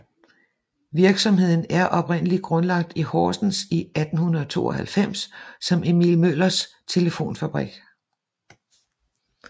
Virksomheden er oprindeligt grundlagt i Horsens i 1892 som Emil Møllers Telefonfabrik